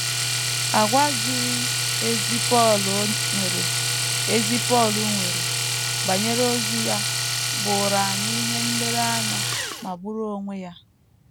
Àgwà ziri ezi Pọl nwere ezi Pọl nwere banyere ozi ya bụụrụ anyị ihe nlereanya magburu onwe ya.